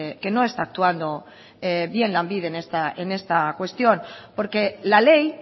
que no está actuando bien lanbide en esta cuestión porque la ley